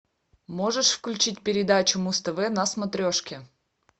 можешь включить передачу муз тв на смотрешке